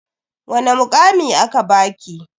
Wani mukami aka baki?